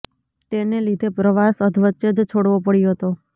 તેને લીધે પ્રવાસ અધવચ્ચે જ છોડવો પડ્યો હતો